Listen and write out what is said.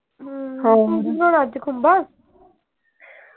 ਹਮ ਹੋਰ ਤੂੰ ਕੀ ਬਣਾਉਣਾ ਅੱਜ ਖੁੰਬਾਂ